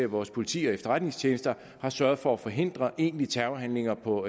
vores politi og efterretningstjenester har sørget for at forhindre egentlige terrorhandlinger på